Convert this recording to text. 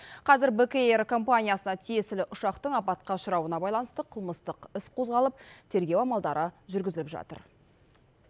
қазір бек эйр компаниясына тиесілі ұшақтың апатқа ұшырауына байланысты қылмыстық іс қозғалып тергеу амалдары жүргізіліп жатыр